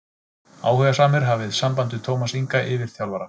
Áhugasamir hafi samband við Tómas Inga yfirþjálfara.